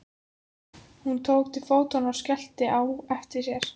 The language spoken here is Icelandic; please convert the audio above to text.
Hún tók til fótanna og skellti á eftir sér.